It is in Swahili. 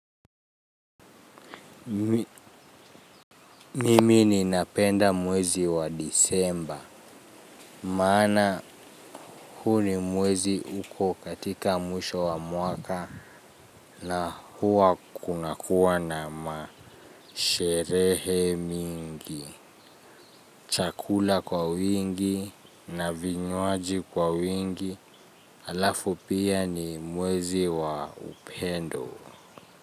Mimi ninapenda mwezi wa disemba. Maana huu ni mwezi uko katika mwisho wa mwaka na huwa kunakuwa na masherehe mingi. Chakula kwa wingi na vinywaji kwa wingi alafu pia ni mwezi wa upendo.